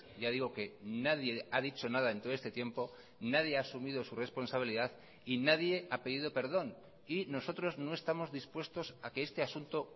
ya digo que nadie ha dicho nada en todo este tiempo nadie ha asumido su responsabilidad y nadie ha pedido perdón y nosotros no estamos dispuestos a que este asunto